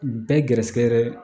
Bɛɛ gɛrɛsɛgɛ yɛrɛ